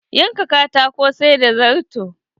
Yanka katako, sai da zarto.